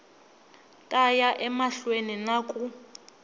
ta ya emahlweni na ku